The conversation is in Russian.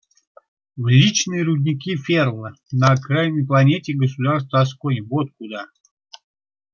в личные рудники ферла на окраинной планете государства асконь вот куда